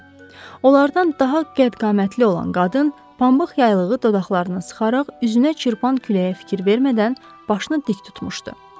Onlardan daha qədd-qamətli olan qadın pambıq yaylığı dodaqlarına sıxaraq, üzünə çırpan küləyə fikir vermədən başını dik tutmuşdu.